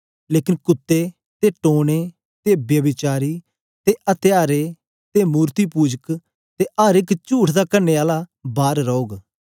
लेकन कुत्तें ते टोन्हें ते व्यभिचारी ते अत्यारे ते मूरतपूजा ते अर एक चुठ दा कड़ने आला बार रौग